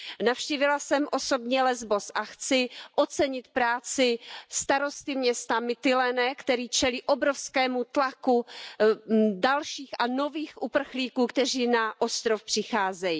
Navštívila jsem osobně Lesbos a chci ocenit práci starosty města Mytiléné, který čelí obrovskému tlaku dalších a nových uprchlíků, kteří na ostrov přicházejí.